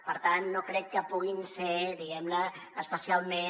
per tant no crec que puguin ser diguem ne especialment